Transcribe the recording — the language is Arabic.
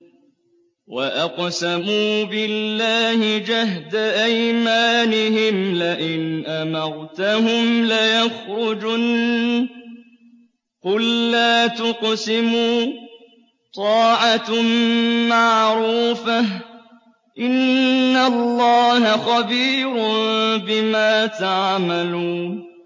۞ وَأَقْسَمُوا بِاللَّهِ جَهْدَ أَيْمَانِهِمْ لَئِنْ أَمَرْتَهُمْ لَيَخْرُجُنَّ ۖ قُل لَّا تُقْسِمُوا ۖ طَاعَةٌ مَّعْرُوفَةٌ ۚ إِنَّ اللَّهَ خَبِيرٌ بِمَا تَعْمَلُونَ